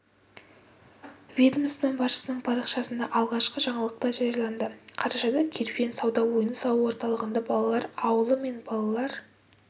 ведомства басшысының парақшасында алғашқы жаңалық та жарияланды қарашада керуен сауда ойын-сауық орталығында балалар ауылы мен балалар